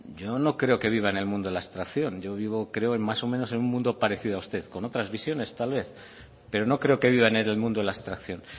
yo no creo que viva en el mundo de la abstracción yo vivo creo más o menos en un mundo parecido a usted con otras visiones tal vez pero no creo que viva en el mundo de la abstracción